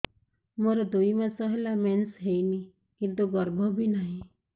ମୋର ଦୁଇ ମାସ ହେଲା ମେନ୍ସ ହେଇନି କିନ୍ତୁ ଗର୍ଭ ବି ନାହିଁ